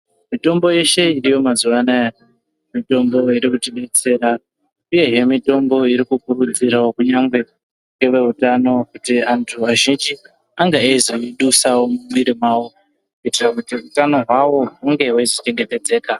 Mitombo yeshe iriyo mazuwa anaya mitombo iri kutidetsera. Uyehe mitombo iri kukurudzirawo kunyangwe neveutano kuti antu azhinji ange eizoidusawo mumwiri mwawo kuitira kuti utano hwawo hunge hweizochengetedzeka.